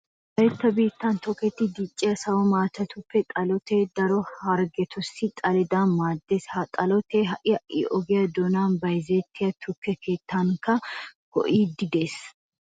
Wolaytta biittan tokettidi dicciya sawo maatatuppe xalotee daro harggetussi xaletettawu maaddees. Ha xalotee ha"i ha"i oge doonan bayzettiya tukke keettatunkka go"iiddi de'ees.